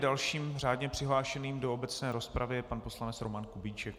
Dalším řádně přihlášeným do obecné rozpravy je pan poslanec Roman Kubíček.